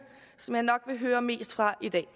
som man nok vil høre mest fra i dag